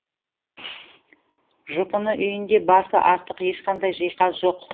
жұпыны үйінде басы артық ешқандай жиһаз жоқ